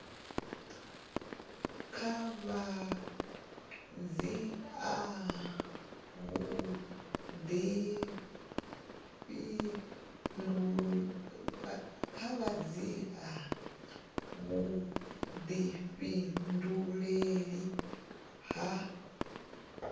kha vha dzhia vhudifhinduleli ha